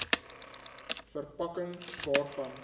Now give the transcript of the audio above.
ver pakking waarvan